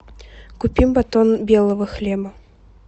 купи батон белого хлеба